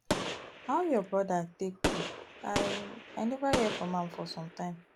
how your brother take do i i never hear from am for some time